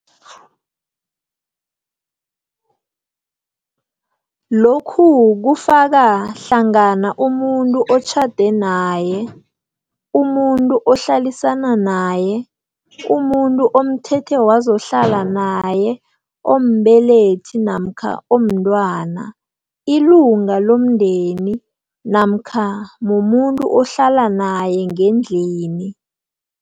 Lokhu kufaka hlangana umuntu otjhade naye, umuntu ohlalisana naye, umuntu omthethe wazohlala naye ombelethi namkha omntwana, ilunga lomndeni namkha mumuntu ohlala naye ngendlini.